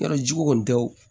Yɔrɔ jiko tɛ wo